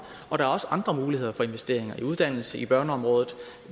og der er også andre muligheder for investeringer i uddannelse på børneområdet og